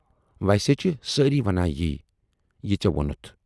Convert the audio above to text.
ویسے چھِ سٲری ونان یی، یہِ ژےٚ وونُتھ۔